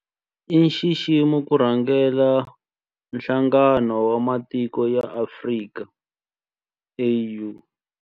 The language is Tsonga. I nxiximo ku rhangela Nhlangano wa Matiko ya Afrika, AU.